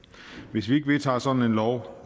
hvis vi ikke vedtager sådan en lov